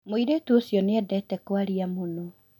Mũirĩtũ ũcio nĩ endete kwaria mũũno